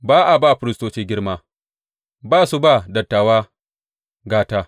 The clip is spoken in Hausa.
Ba a ba firistoci girma, ba su ba dattawa gata.